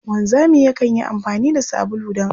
Wanzami yakan yi amfani da sabulu don aski.